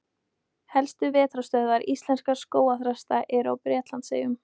Helstu vetrarstöðvar íslenskra skógarþrasta eru á Bretlandseyjum.